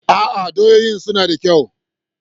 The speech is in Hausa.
A'a, doyoyin suna da kyau.